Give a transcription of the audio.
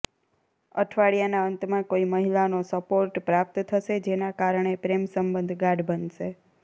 અઠવાડિયાના અંતમાં કોઈ મહિલાનો સપોર્ટ પ્રાપ્ત થશે જેના કારણે પ્રેમ સંબંધ ગાઢ બનશે